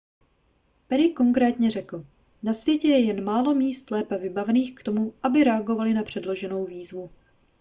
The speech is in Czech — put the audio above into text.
perry konkrétně řekl na světě je jen málo míst lépe vybavených k tomu aby reagovaly na předloženou výzvu